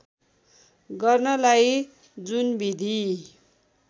गर्नलाई जुन विधि